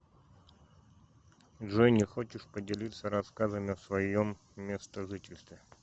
джой не хочешь поделиться рассказами о своем местожительстве